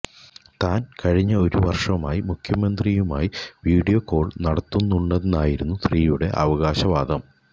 താൻ കഴിഞ്ഞ ഒരു വർഷമായി മുഖ്യമന്ത്രിയുമായി വിഡിയോ കോൾ നടത്തുന്നുണ്ടെന്നായിരുന്നു സ്ത്രീയുടെ അവകാശവാദം